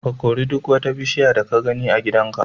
Ka kori duk wata bushiya da ka gani a gidanku.